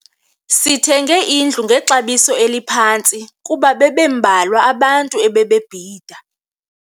Sithenge indlu ngexabiso eliphantsi kuba bebembalwa abantu ebebebhida.